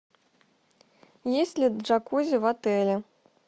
есть ли джакузи в отеле